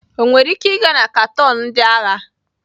Ọ nwere ike ịga na kanton ndị agha?